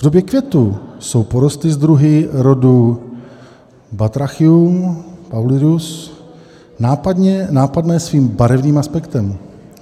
V době květu jsou porosty s druhy rodu Batrachium paulidus nápadné svým barevným aspektem.